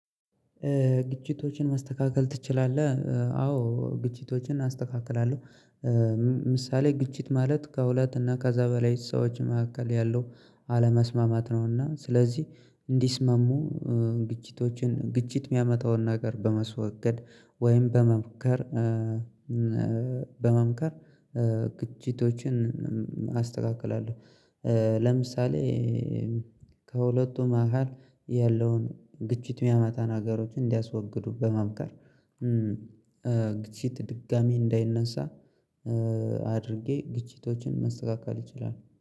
ግጭቶችን ማስተካከል ትችላለህ? አዎ ግጭቶችን አስተካክላለሁ። ምሳሌ ግጭት ማለት ከሁለት እና ከዛ በላይ ሰዎች መካከል ያለው አለመስማማት ነው። እና ስለዚህ እንዲስማሙ ግጭቶችን ግጭት የሚያመጣውን ነገር በመስወገድ ወይም በመምከር በመምከር ግጭቶችን አስተካክላለሁ። ለምሳሌ ከሁለቱ መሃል ያለውን ግጭት የሚያመጣ ነገሮችን እንዲያስወግዱ በመምከር። ግፊት ድጋሚ እንዳይነሳ አድርጌ ግጭቶችን መስተካከል ይችላል